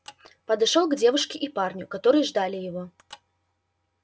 подошёл к девушке и парню которые ждали его